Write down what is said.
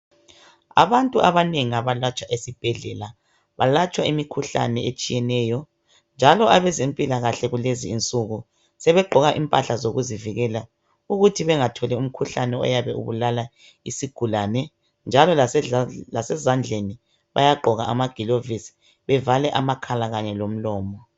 Abantu abanengi abalatshwa esibhedlela balatshwa imikhuhlane etshiyeneyo njalo abezempilakahle kulezi insuku sebegqoka impahla zokuzivikela ukuthi bengatholi umkhuhlane oyabe ubulala isigulane njalo lasezandleni bayagqoka amagilovisi bevale amakhala kanye lomlomo.